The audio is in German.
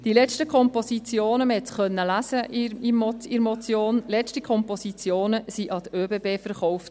Die letzten Kompositionen – man konnte es in der Motion lesen – wurden an die ÖBB verkauft.